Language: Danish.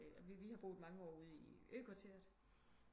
Og vi vi har boet mange år ude i ø kvarteret